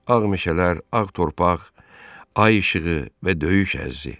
Ağ meşələr, ağ torpaq, ay işığı və döyüş əhzi.